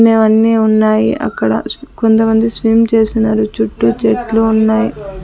అన్నీ ఉన్నాయి అక్కడ కొంతమంది స్విమ్ చేసినారు చుట్టూ చెట్లు ఉన్నాయి.